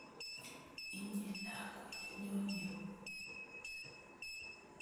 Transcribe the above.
Inye lakwet nyon yu